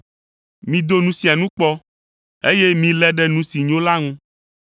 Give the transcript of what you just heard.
Mido nu sia nu kpɔ, eye milé ɖe nu si nyo la ŋu.